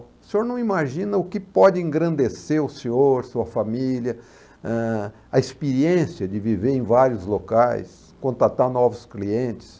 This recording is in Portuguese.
O senhor não imagina o que pode engrandecer o senhor, sua família, eh, a experiência de viver em vários locais, contatar novos clientes.